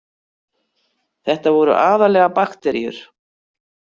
Þetta voru aðallega bakteríur.